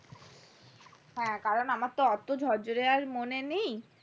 হ্যাঁ কারণ আমার তো ওতো ঝরঝরে আর মনে নেই